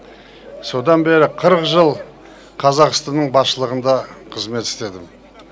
содан бері қырық жыл қазақстанның басшылығында қызмет істедім